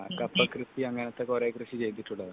അപ്പം കൃഷി അങ്ങനത്തെ കൃഷി കൊറേ ചെയ്തിട്ടുള്ളതാണ്